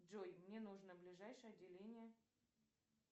джой мне нужно ближайшее отделение